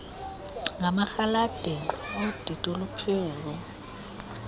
ngamarhaladeni odidi oluphezulu